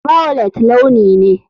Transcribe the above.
Violet launi ne.